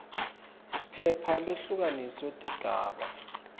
phepha lehlukaniswe tigaba